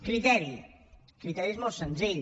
criteri el criteri és molt senzill